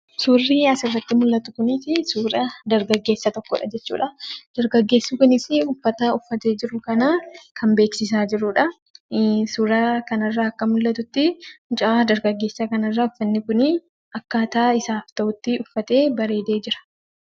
Suurri asirratti mul'atu kun suura dargaggessa tokkooti jechuudha. Dargaggeessi kunis uffata uffate jiru kana kan beeksisaa jirudha. Suuraa kana irraa akka mul'atutti, mucaa dargaggeessa kana irraa uffanni kun akka isaaf ta'utti uffatee bareedee jira.